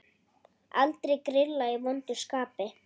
Aldrei grilla í vondu skapi.